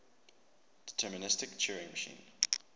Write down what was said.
deterministic turing machine